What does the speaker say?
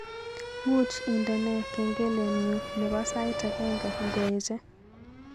Muuch indene kengelenyu nebo sait agenge ngoeche